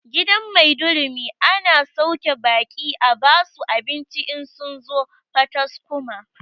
Gidan maidurumi ana sauke baƙi a basu abinci in sun zo pataskuma